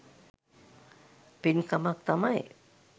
පින්කමක් තමයි.